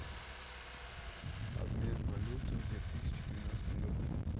обмен валюты в две тысячи двенадцатом году